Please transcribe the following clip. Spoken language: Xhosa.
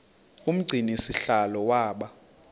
umgcini sihlalo waba